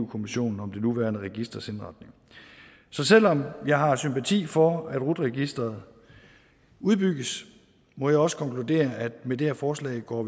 kommissionen om det nuværende registers indretning så selv om jeg har sympati for at rut registeret udbygges må jeg også konkludere at vi med det her forslag går